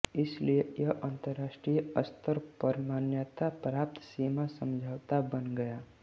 इसलिए यह अंतरराष्ट्रीय स्तर पर मान्यता प्राप्त सीमा समझौता बन गया